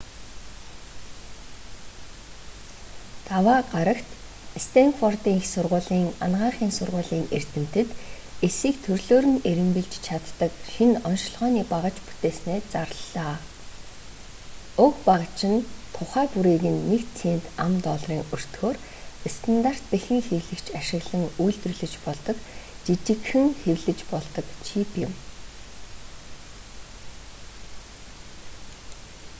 даваа гарагт стэнфордын их сургуулийн анагаахын сургуулийн эрдэмтэд эсийг төрлөөр нь эрэмбэлж чаддаг шинэ оношилгооны багаж бүтээснээ зарлалаа: уг багаж нь тухай бүрийг нь нэг цент ам.долларын өртгөөр стандарт бэхэн хэвлэгч ашиглан үйлдвэрлэж болдог жижигхэн хэвлэж болдог чип юм